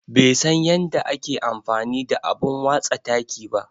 Bai san yanda ake amfani da abun watsa taki ba.